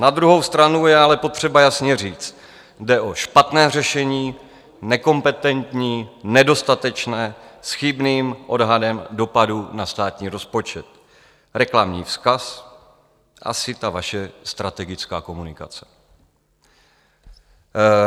Na druhou stranu je ale potřeba jasně říct: jde o špatné řešení, nekompetentní, nedostatečné, s chybným odhadem dopadů na státní rozpočet, reklamní vzkaz, asi ta vaše strategická komunikace.